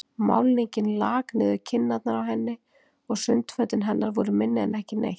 Málningin lak niður kinnarnar á henni og sundfötin hennar voru minni en ekki neitt.